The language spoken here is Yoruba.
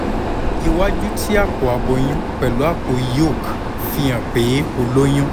iwaju ti apo aboyun pẹlu apo yolk fihan pe o loyun